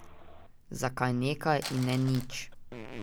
Zakaj nekaj, in ne nič?